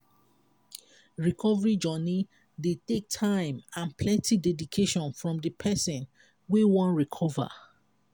recovery journey dey take time and plenty dedication from di person wey wan recover